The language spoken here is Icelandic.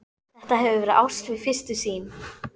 Þetta hefur verið ást við fyrstu sýn.